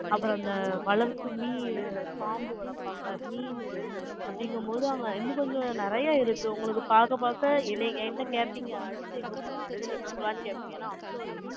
அப்புறம் அப்புறம் அந்தவளர்ப்பு, பாம்பு வளர்ப்பாங்க, மீனு, அப்படிங்கும்போது, அங்க, இன்னும் கொஞ்சம், நிறைய இருக்கு. உங்களுக்கு பார்க்க, பார்க்க, என்னைய, என்கிட்ட கேட்பீங்க. அடுத்து, எங்க போலாம்? அடுத்து, எங்க போலாம்ன்னு, கேட்பீங்க. ஏன்னா, அவ்வளவு இருக்கு.